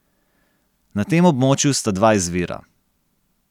Na tem območju sta dva izvira.